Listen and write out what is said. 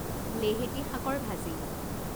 লেহেতি শাকৰ ভাজি